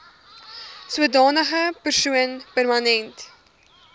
sodanige persoon permanent